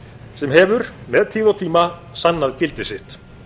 sem hefur með tíð og tíma sannað gildi sitt